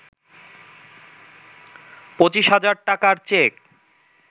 পঁচিশ হাজার টাকার চেক